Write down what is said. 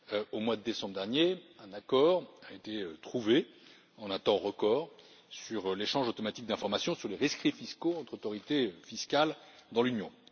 Au mois de décembre dernier, un accord a été trouvé en un temps record en ce qui concerne l'échange automatique d'informations sur les rescrits fiscaux entre autorités fiscales dans l'Union.